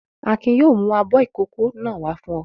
Akin yóò mú abọ́ ìkókó náà wá fún ọ!